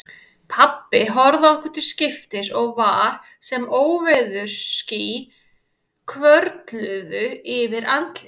Pabbi horfði á okkur til skiptis og var sem óveðursský hvörfluðu yfir andlitið.